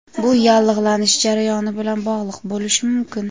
Bu yallig‘lanish jarayoni bilan bog‘liq bo‘lishi mumkin.